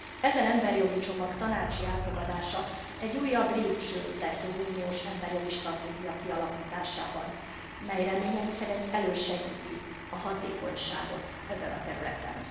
Ezen emberjogi csomag tanácsi elfogadása egy újabb lépcső lesz az uniós emberjogi stratégia kialakításában, mely reményeim szerint elősegíti a hatékonyságot ezen a területen.